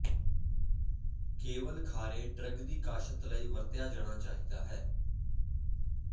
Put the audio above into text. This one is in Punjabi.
ਕੇਵਲ ਖਾਰੇ ਡਰੱਗ ਦੀ ਕਾਸ਼ਤ ਲਈ ਵਰਤਿਆ ਜਾਣਾ ਚਾਹੀਦਾ ਹੈ